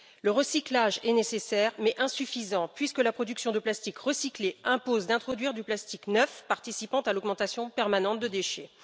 Le recyclage est nécessaire mais insuffisant, puisque la production de plastique recyclé impose d'introduire du plastique neuf, participant à l'augmentation permanente des déchets.